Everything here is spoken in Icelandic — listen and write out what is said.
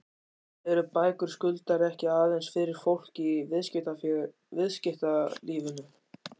En eru bækur Skuldar ekki aðeins fyrir fólk í viðskiptalífinu?